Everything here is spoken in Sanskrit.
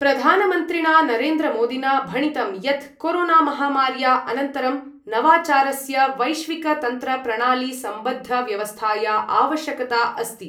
प्रधानमन्त्रिणा नरेन्द्रमोदिना भणितं यत् कोरोनामहामार्या अनन्तरं नवाचारस्य वैश्विकतन्त्रप्रणालीसम्बद्धव्यवस्थाया आवश्यकता अस्ति।